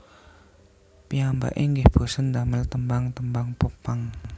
Piyambake inggih bosèn damel tembang tembang Pop punk